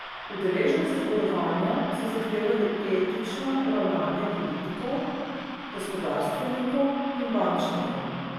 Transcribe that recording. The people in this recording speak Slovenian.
Udeleženci zborovanja so zahtevali etično ravnanje politikov, gospodarstvenikov in bančnikov.